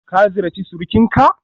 Ka ziyarci surukinka?